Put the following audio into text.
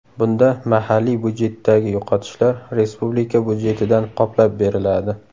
Bunda mahalliy budjetdagi yo‘qotishlar respublika budjetidan qoplab beriladi.